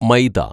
മൈദ